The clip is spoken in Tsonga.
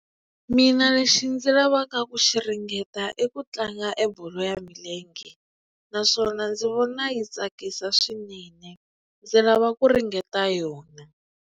Mina lexi ndzi lavaka ku xi ringeta eku tlanga e bolo ya milenge naswona ndzi vona yi tsakisa swinene ndzi lava ku ringeta yona.